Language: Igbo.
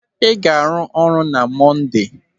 Ị ga-arụ ọrụ na Monde!